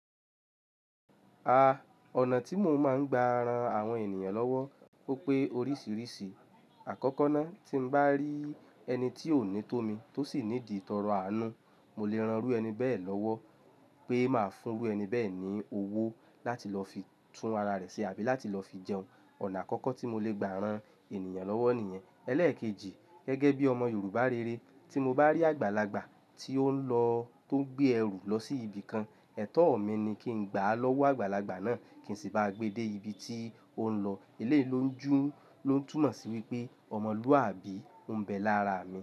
A, ọ̀nà tí mo máa ń gba ran àwọn ènìyàn lọ́wọ́ ó pé oríṣìíríṣìí. Àkọ́kọ́ ná, tí mo bá rí ẹni tí ó ní tómi tó sì need itọrọ àánú, mo lè ran irú ẹni bẹ́ẹ̀ lọ́wọ́ pé màá fún irú ẹni bẹ́ẹ̀ ní owó láti lọ fi tún ara rẹ̀ ṣe àbí láti lọ fi jẹun. Ọ̀nà àkọ́kọ́ tí mo lè gba ran ènìyàn lọ́wọ́ nìyẹn. Ẹlẹ́ẹ̀kejì, gẹ́gẹ́ bí ọmọ Yorùbá rere, tí mo bá rí àgbàlagbà tí ó ń lọ, tó gbé ẹrù lọ sí ibìkan, ẹ̀tọ́ mi ni kí n gbà lọ́wọ́ àgbàlagbà náà kí n sì bá gbe dé ibi tí ó ń lọ. Eleyii ló ń jú, ló ń tùmọ̀ sí wípé ọmọlúwàbí ń bẹ lára mi.